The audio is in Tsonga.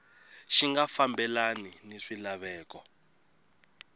xi nga fambelani ni swilaveko